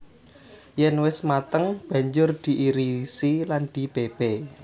Yèn wis mateng banjur diirisi lan dipépé